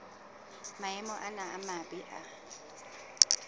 maemo ana a mabe a